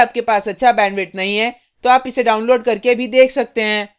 यदि आपके पास अच्छा bandwidth नहीं है तो आप इसको download करने और देख सकते हैं